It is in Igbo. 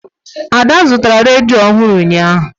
Ada zụtara redio ọhụụ ụnyaahụ.